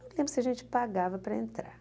Não lembro se a gente pagava para entrar.